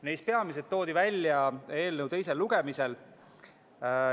Neist peamised toodi välja eelnõu teisel lugemisel.